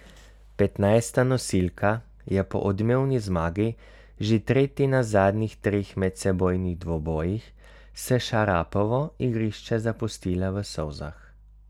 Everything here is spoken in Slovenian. Petnajsta nosilka je po odmevni zmagi, že tretji na zadnjih treh medsebojnih dvobojih s Šarapovo, igrišče zapustila v solzah.